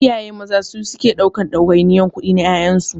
Iyaye maza su suke ɗaukan ɗawainiyar kudi na ƴaƴansu.